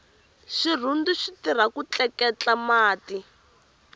xirhundu xitirha ku tleketla mati